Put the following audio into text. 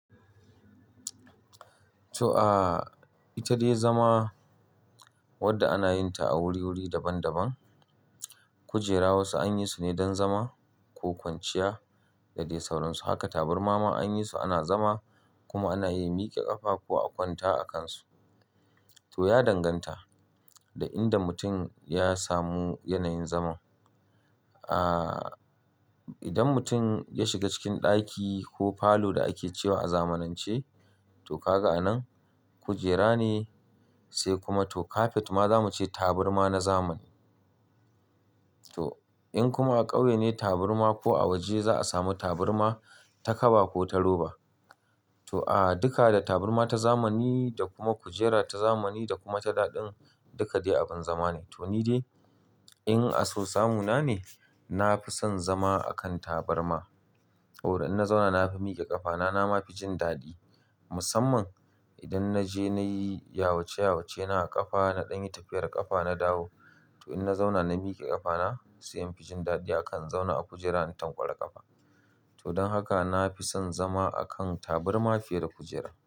To, aa ita dai zama wadda ana yin ta a wuriwuri daban-daban. Kujera wasu an yi su ne don zama ko kwanciya da dai sauransu. Haka taburma ma an yi su ana zama kuma ana iya miƙe ƙafa ko a kwanta a kan su. To, ya danganta da inda mutum ya samu yanayin zama. Aa idan mutum ya shiga cikin ɗaki ko falo da ake ce wa a zamanance, to, ga ka anan kujera ne sai kuma to kafet ma zamu ce taburma na zamani. To, in kuma a ƙauye ne taburma ko a waje za'a samu taburma ta kaba ko ta roba. To, aa duka da taburma ta zamani da kuma kujera ta zamani da kuma ta daɗin duka dai abin zama ne. To, ni dai in a so samuna ne, na fi son zama a kan taburma. Saboda in na zauna na fi miƙe ƙafa na na ma fi jin daɗi. Musamman idan na je na yi yawace yawace na a ƙafa, na ɗan yi tafiyar ƙafa, na dawo. To, in na zauna na miƙe ƙafa na sai in fi jin daɗi a kan in zauna a kujera in tankwara ƙafa. To, don haka na fi son zama a kan taburma fiye da kujera.